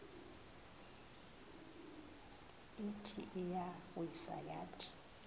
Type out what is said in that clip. ithi iyawisa yathi